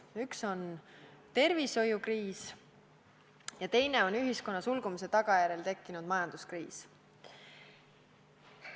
Üks on tervishoiukriis ja teine on ühiskonna sulgumise tagajärjel tekkinud majanduskriis.